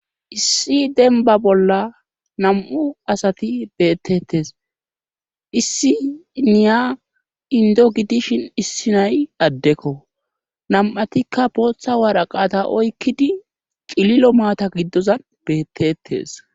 issi denba bolla nam7u asati beettettes issi niya indo gidishin issi nay addekko nam7atikka bootha waraqata oykkidi cililo maata giddozan bettettes